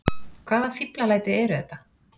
Hvaða fíflalæti eru þetta!